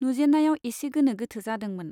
नुजेन्नायाव एसे गोनो गोथो जादोंमोन।